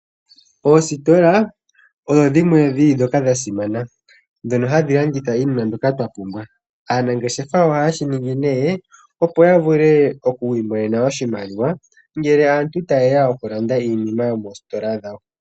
Oositola odho dhimwe ndhoka dhili dha simana ndhono hadhi landitha iinima mbyoka twa pumbwa. Aanangeshefa ohaye shi ningi nee, opo ya vule oku imonena oshimaliwa ngele aantu ta ye ya oku landa iinima yomoositola dhawo.